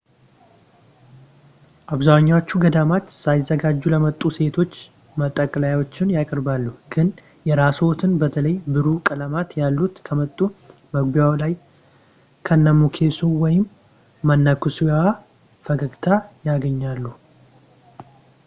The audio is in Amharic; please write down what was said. አብዛኞቹ ገዳማት ሳይዘጋጁ ለመጡ ሴቶች መጠቅለያዎችን ያቀርባሉ ግን የራስዎትን በተለይ ብሩህ ቀለማት ያሉት ካመጡ መግቢያው ላይ ከመነኩሴው ወይም መነኩሴዋ ፈገግታ ያገኛሉ